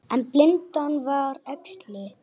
En blindan var æxli.